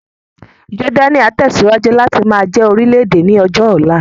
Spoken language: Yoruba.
Jọ́dánì á tẹ̀síwájú láti máa jẹ́ orílè-èdè ní ọjọ́ ọ̀la